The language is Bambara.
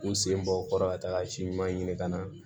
U sen bɔ u kɔrɔ ka taga si ɲuman ɲini ka na